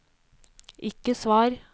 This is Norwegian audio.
ikke svar